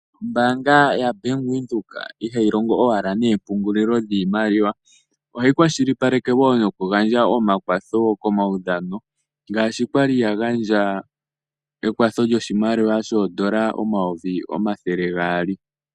Ombaanga yaVenduka ihayi longo owala neempungulilo dhiimaliwa, ohayi kwashilipaleke wo noku gandja omakwatho komaudhano. Ngaashi kwali ya gandja ekwatho lyoshimaliwa shoondola omayovi omathele gaali.